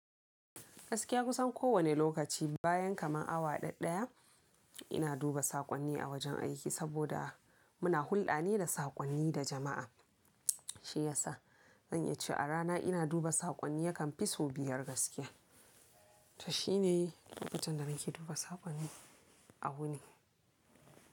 Gaskiya kusan kowanne lokaci bayan kamar awa dadɗaya ina duba saƙonni a wajen aiki saboda muna hulɗa ne da saƙonni da jama'a shiyasa zan iya cewa a rana ina duba saƙonni yakan fi sau biyar gaskiya to shine lokacin da nake duba saƙonni awu ne.